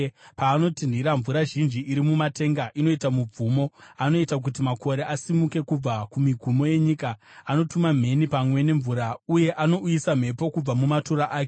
Paanotinhira, mvura zhinji iri mumatenga inoita mubvumo; anoita kuti makore asimuke kubva kumigumo yenyika. Anotuma mheni pamwe nemvura, uye anouyisa mhepo kubva mumatura ake.